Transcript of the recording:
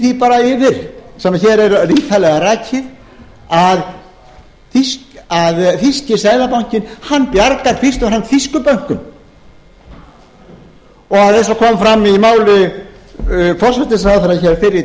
yfir sem hér er ítarlega rakið að þýski seðlabankinn bjargar fyrst og fremst þýskum bönkum og eins og kom fram í máli forsætisráðherra hér fyrr í